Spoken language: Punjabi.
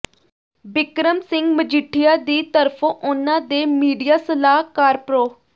ਬਿਕਰਮ ਸਿੰਘ ਮਜੀਠੀਆ ਦੀ ਤਰਫੋਂ ਉਨ੍ਹਾਂ ਦੇ ਮੀਡੀਆ ਸਲਾਹਕਾਰ ਪ੍ਰੋ